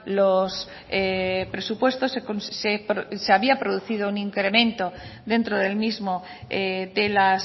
los presupuestos se había producido un incremento dentro del mismo de las